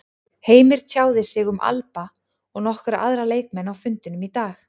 Heimir tjáði sig um Alba og nokkra aðra leikmenn á fundinum í dag.